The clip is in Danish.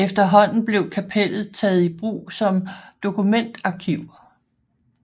Efterhånden blev kapellet taget i brug som dokumentarkiv